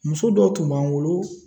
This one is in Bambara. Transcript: Muso dɔw tun b'an bolo